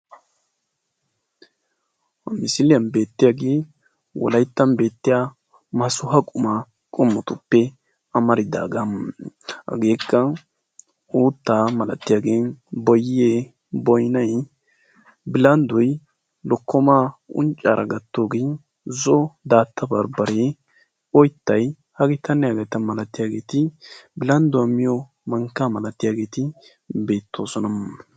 Ha misiliyaan beettiyaagee wolayttan beettiyaa maasuwaa qumaa qomotuppe amaridagaa. hageekka uuttaa malatiyaagee boyee boynay billanddoy lokkomaa unccaara gattoogee zo'o daatta barbbaree oyttay hageetanne haageta malatiyaageti beettoosona.